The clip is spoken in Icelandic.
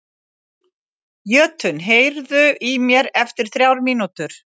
Jötunn, heyrðu í mér eftir þrjár mínútur.